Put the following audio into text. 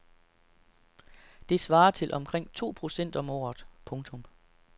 Det svarer til omkring to procent om året. punktum